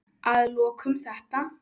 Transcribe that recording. Að lokum þetta.